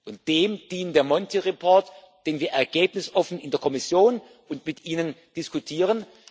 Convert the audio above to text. Und dem dient der Monti Report, den wir ergebnisoffen in der Kommission und mit Ihnen diskutieren.